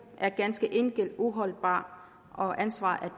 er ganske enkelt uholdbar og ansvaret